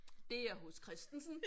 Det er hos Christensen